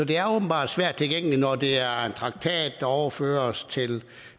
det er åbenbart svært tilgængeligt når det er en traktat overføres til